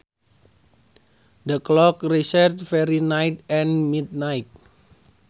The clock resets every night at midnight